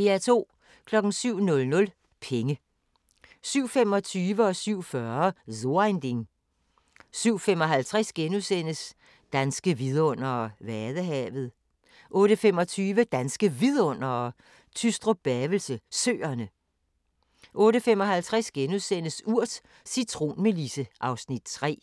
07:00: Penge 07:25: So ein Ding * 07:40: So ein Ding * 07:55: Danske vidundere: Vadehavet * 08:25: Danske Vidundere: Tystrup-Bavelse Søerne 08:55: Urt: Cintronmelisse (Afs. 3)*